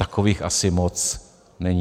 Takových asi moc není.